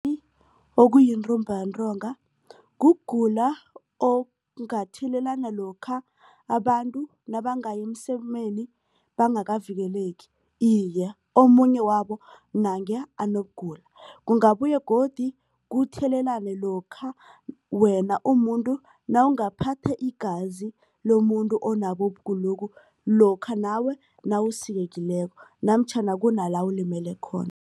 okuyintumbantonga kugula okungathelelana lokha abantu nabangaya emsemeni bangakavikeleki iye omunye wabo nange anokugula. Kungabuye godu kuthelelane lokha wena umuntu nawungaphatha igazi lomuntu onabo ukugulokhu lokha nawe nawusikekileko namtjhana kuna la ulimele khona.